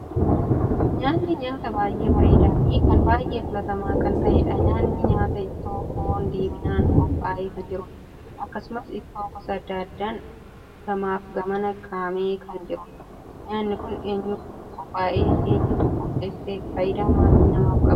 Nyaanni nyaata baay'ee bareedaa Fi kan baay'ee filatamaa kan taheedha. Nyaanni nyaata ittoo foon diimiinaan qophaa'ee kan jirudha. akkasumas ittoo gosa addaa addaan gamaaf gamana kaamee kan jiruudha. nyaanni Kun eenyuf qophaa'e? eenyutu qopheesse? faayidaa maalii namaaf qaba?